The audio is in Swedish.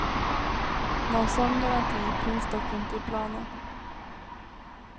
Någon sådan garanti finns dock inte i planen.